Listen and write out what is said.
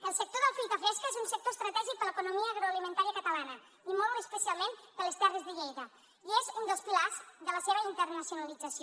el sector de la fruita fresca és un sector estratègic per a l’economia agroalimentària catalana i molt especialment per a les terres de lleida i és un dels pilars de la seva internacionalització